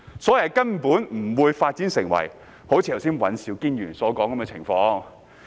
所以，根本不會發展至尹兆堅議員剛才所說的情況。